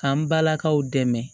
K'an balakaw dɛmɛ